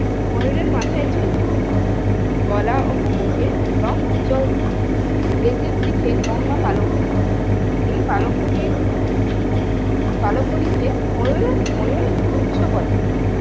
ময়ূরের মাথায় ঝূটি গলা ও মুখে রঙ উজ্জ্বল নীল লেজের দিকে লম্বা পালক থাকে এই পালক গুলির পালক গুলিকে ময়ূরের ময়ূর পুচ্ছ বলে